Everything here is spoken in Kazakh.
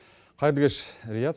қайырлы кеш риат